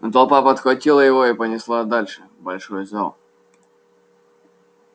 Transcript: но толпа подхватила его и понесла дальше в большой зал